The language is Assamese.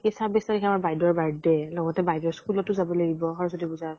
কি ছাব্বিছ তাৰিখে আমাৰ বাইদেউৰ birthday লগতে বাইদেউৰ school তো যাব লাগিব সৰস্বতী পুজা